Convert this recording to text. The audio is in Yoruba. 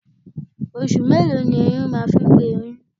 Oṣù mélòó ni ẹrin máa ń fi gbé oyún?